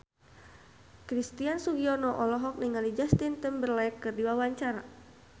Christian Sugiono olohok ningali Justin Timberlake keur diwawancara